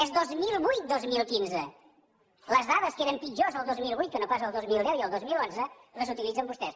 és dos mil vuit dos mil quinze les dades que eren pitjors el dos mil vuit que no pas el dos mil deu i el dos mil onze les utilitzen vostès